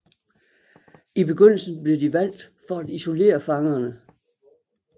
I begyndelsen blev de valgt for at isolere fangerne